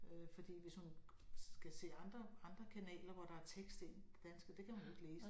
Øh fordi hvis hun skal se andre andre kanaler hvor der tekst ind på dansk og det kan hun jo ikke læse